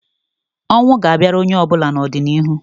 Ọnwụ ga-abịara onye ọbụla n'ọdịniihu